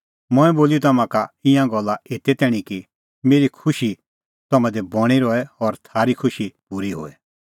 मंऐं बोली तम्हां ई का ईंयां गल्ला एते तैणीं कि मेरी खुशी तम्हां दी बणीं रहे और थारी खुशी पूरी होए